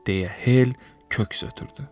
deyə Hel köks ötürdü.